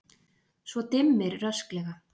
Svo dimmir rösklega.